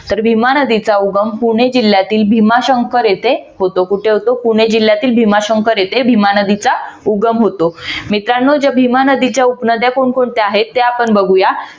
तर भीमा नदीचा उगम पुणे जिल्ह्यातील भीमाशंकर येथे होतो. कुठे होतो? पुणे जिल्ह्यातील भीमाशंकर येथे भीमा नदीचा उगम होतो. मित्रांनो या भीमा नदीच्या उपनद्या कोण कोणत्या आहेत? ते आपण बघुयात.